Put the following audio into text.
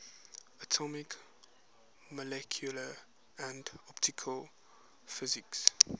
atomic molecular and optical physics